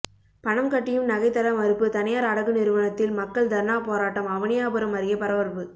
பணம் கட்டியும் நகை தர மறுப்பு தனியார் அடகு நிறுவனத்தில் மக்கள் தர்ணா போராட்டம் அவனியாபுரம் அருகே பரபரப்பு